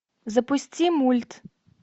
запусти мульт